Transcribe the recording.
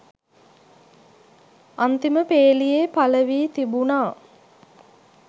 අන්තිම පේලියේ පල වී තිබුනා.